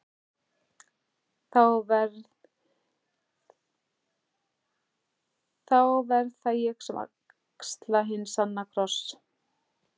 Þá verð það ég sem axla hinn sanna kross.